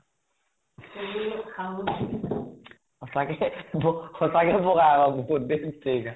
সঁচাকে বগ সঁচাকে বʼগা আকৌ